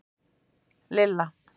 Lilla